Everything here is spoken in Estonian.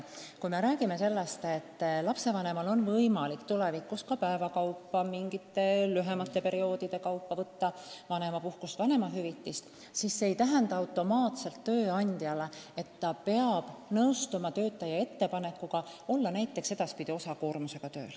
Kui jutt on sellest, et lapsevanemal on võimalik tulevikus ka päeva kaupa või üldse mingite lühemate perioodide kaupa vanemapuhkust võtta ja vanemahüvitist saada, siis see ei tähenda tööandjale automaatselt, et ta peab nõustuma töötaja sooviga olla edaspidi näiteks osakoormusega tööl.